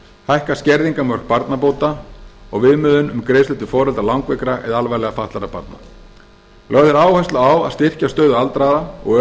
hækka skerðingarmörk barnabóta og viðmiðun um greiðslur til foreldra langveikra eða alvarlega fatlaðra barna lögð er áhersla á að styrkja stöðu aldraðra og